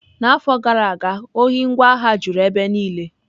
N'afọ gara aga, ohi ngwa agha juru ebe niile.